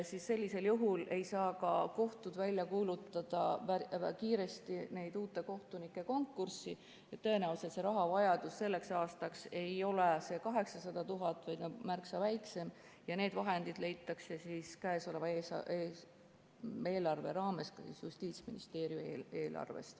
Sellisel juhul ei saa ka kohtud kiiresti välja kuulutada uute kohtunike konkurssi ja tõenäoliselt rahavajadus selleks aastaks ei ole 800 000, vaid on märksa väiksem, ja need vahendid leitakse käesoleva eelarve raames Justiitsministeeriumi eelarvest.